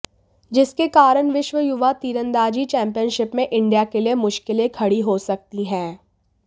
जिसके कारण विश्व युवा तीरंदाजी चैम्पियनशिप में इंडिया के लिए मुश्किलें खड़ी हो सकती हैं